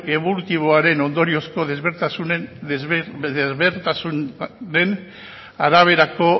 ebolutiboaren ondoriozko ezberdintasunen araberako